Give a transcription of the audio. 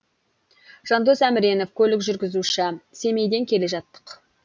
жандос әміренов көлік жүргізуші семейден келе жаттық